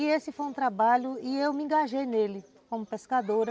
E esse foi um trabalho e eu me engajei nele como pescadora.